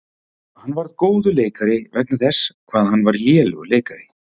Ég varð góður leikari vegna þess hvað hann var lélegur leikari.